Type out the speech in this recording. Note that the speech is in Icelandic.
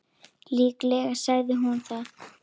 Líklega sagði hún það.